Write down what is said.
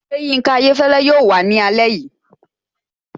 Ṣé Yinka Ayéfẹ́lẹ́ yóò wàá ní alẹ́ yìí?